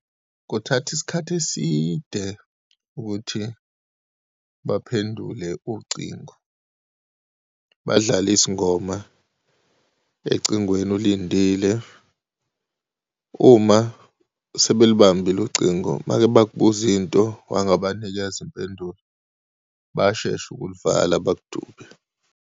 Kuthatha isikhathi eside ukuthi baphendule ucingo, badlale izingoma ecingweni, ulindili. Uma sebelibambile ucingo, uma-ke bakubuza into, wangabanikeza impendulo, bayashesha ukulivala, bakudube.